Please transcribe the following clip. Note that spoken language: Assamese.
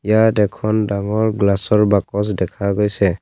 ইয়াত এখন ডাঙৰ গ্লাচৰ বাকচ দেখা গৈছে।